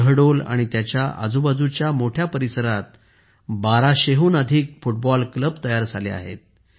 शहडोल आणि त्याच्या आजूबाजूचा मोठ्या परिसरात 1200 हून अधिक फुटबॉल क्लब तयार झाले आहेत